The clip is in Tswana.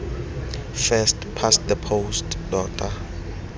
first past the post tota